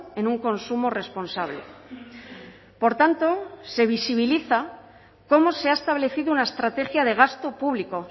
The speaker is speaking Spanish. en un consumo responsable por tanto se visibiliza cómo se ha establecido una estrategia de gasto público